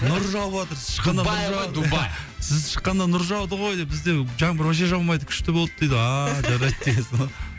нұр жауыватыр сіз шыққанда сіз шыққанда нұр жауды ғой деп бізде жаңбыр вообще жаумайды күшті болды дейді ааа жарайды дегенсің ғой